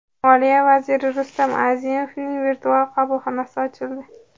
Moliya vaziri Rustam Azimovning virtual qabulxonasi ochildi .